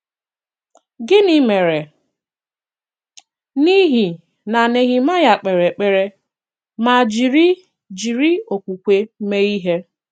Gịnị̀ mèrè n’ihi na Nehemayà k̀pèrè èkpèrè ma jiri jiri okwùkwè mee ihe?